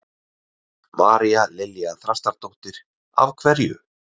María Lilja Þrastardóttir: Af hverju?